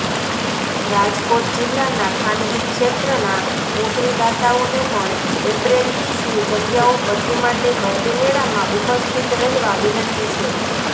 રાજકોટ જિલ્લાના ખાનગી ક્ષેત્રના નોકરીદાતાઓને પણ એપ્રેન્ટીસની જગ્યાઓ ભરતી માટે ભરતીમેળામાં ઉપસ્થિત રહેવા વિનંતી છે